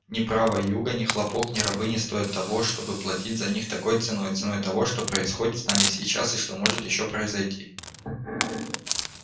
ни права юга ни хлопок ни рабы не стоят того чтобы платить за них такой ценой ценой того что происходит с нами сейчас и что может ещё произойти